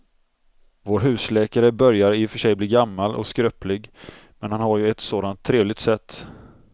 Vår husläkare börjar i och för sig bli gammal och skröplig, men han har ju ett sådant trevligt sätt!